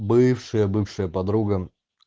бывшая бывшая подруга